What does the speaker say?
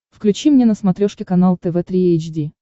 включи мне на смотрешке канал тв три эйч ди